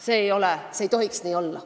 See ei tohiks nii olla.